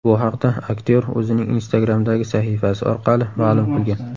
Bu haqda aktyor o‘zining Instagram’dagi sahifasi orqali ma’lum qilgan .